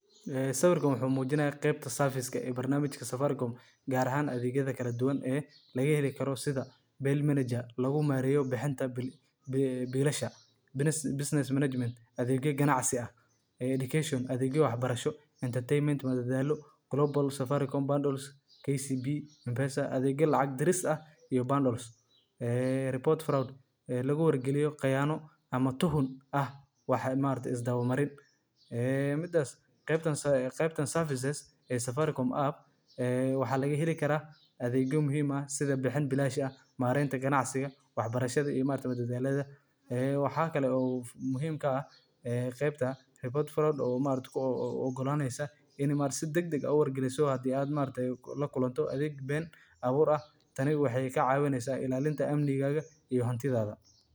Waa adeeg lacag-bixin iyo xawaalad oo casri ah oo loo adeegsado telefoonada gacanta, kaas oo si weyn uga caawiya dadka inay si fudud oo ammaan ah lacag ugu diraan uguna helaan meel kasta oo ay joogaan, xitaa meelaha aan bangiyada iyo adeegyada maaliyadeed si wanaagsan u gaarsiineynin. Adeeggan waxaa markii ugu horreysay laga hirgeliyay Kenya, waxaana hadda laga isticmaalaa dalal badan oo Afrika iyo dunida kale ah.